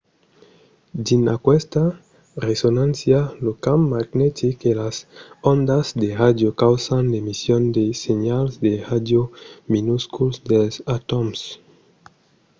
dins aquesta resonància lo camp magnetic e las ondas de ràdio causan l'emission de senhals de ràdio minusculs dels atòms